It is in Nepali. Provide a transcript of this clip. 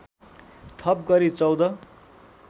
थप गरी १४